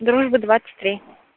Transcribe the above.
дружбы двадцать три